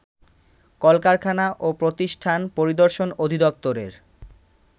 কলকারখানা ও প্রতিষ্ঠান পরিদর্শন অধিদপ্তরের